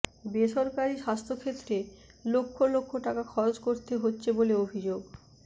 বেসরকারি স্বাস্থ্যক্ষেত্রে লক্ষ লক্ষ টাকা খরচ করতে হচ্ছে বলে অভিযোগ